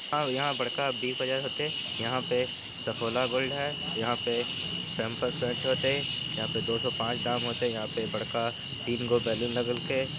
और यहां पर का बिग बाजार होएते यहां पे सफोला गोल्ड है यहां पे पैंपर्स पेंट होएते यहां पर दो सौ पांच दाम होएते यहां पे बड़का तीन गो बैलून लागेल के --